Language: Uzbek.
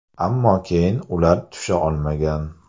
Ammo keyin ular tusha olmagan.